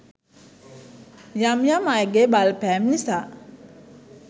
යම් යම් අයගේ බලපෑම් නිසා